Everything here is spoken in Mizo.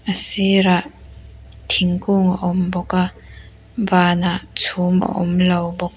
a sirah thingkung a awm bawk a van ah chhum a awm lo bawk.